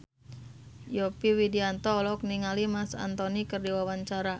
Yovie Widianto olohok ningali Marc Anthony keur diwawancara